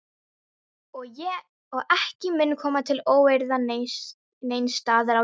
Og ekki mun koma til óeirða neins staðar á jörðinni.